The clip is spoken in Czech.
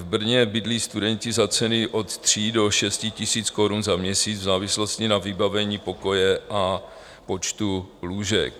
V Brně bydlí studenti za ceny od 3 do 6 tisíc korun za měsíc v závislosti na vybavení pokoje a počtu lůžek.